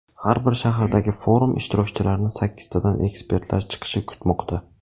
Har bir shahardagi forum ishtirokchilarini sakkiztadan ekspertlar chiqishi kutmoqda.